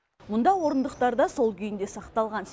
мұнда орындықтар да сол күйінде сақталған